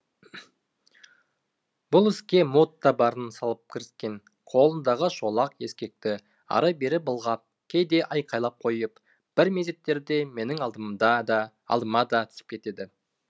бұл іске мод та барын салып кіріскен қолындағы шолақ ескекті ары бері былғап кейде айқайлап қойып бір мезеттерде менің алдыма да түсіп кетеді